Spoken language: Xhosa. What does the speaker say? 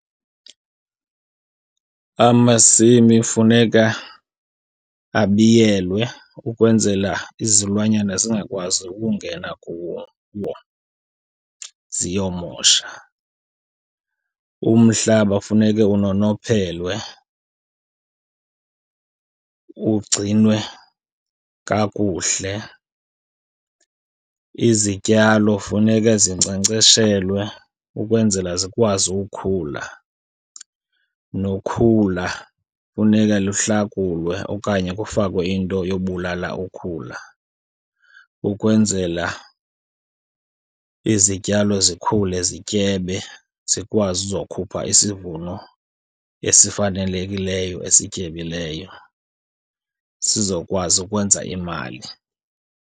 Amasimi funeka abiyelwe ukwenzela izilwanyana zingakwazi ukungena kuwo ziyomosha. Umhlaba funeke unonophelwe ugcinwe kakuhle. Izityalo funeka zinkcenkceshelwe ukwenzela zikwazi ukukhula. Nokhula funeka luhlakulwe okanye kufakwe into yobulala ukhula ukwenzela izityalo zikhule zityebe, zikwazi uzokhupha isivuno esifanelekileyo esityebileyo, sizokwazi ukwenza imali.